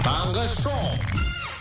таңғы шоу